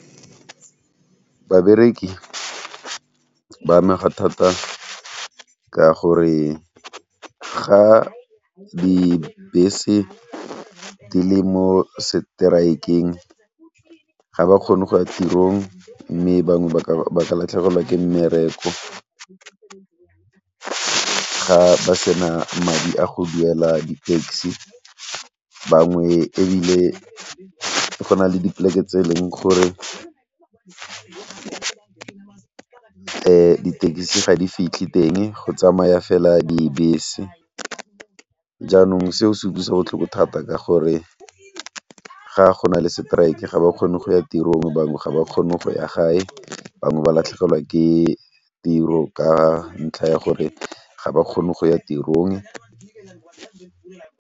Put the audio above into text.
Babereki ba amega thata ka gore ga dibese di le mo seteraekeng ga ba kgone go ya tirong mme bangwe ba ka latlhegelwa ke mmereko. Ga ba sena madi a go duela di taxi bangwe ebile go na le dipoleke tse e leng gore di tekisi ga di fitlhe teng go tsamaya fela dibese jaanong seo se utlwisa botlhoko thata ka gore ga go na le seteraeke ga ba kgone go ya tirong, bangwe ga ba kgone go ya gae, bangwe ba latlhegelwa ke tiro ka ntlha ya gore ga ba kgone go ya tirong.